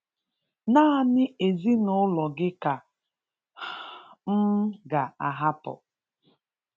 Nánị ezinụlọ gị ka um m ga-ahapụ.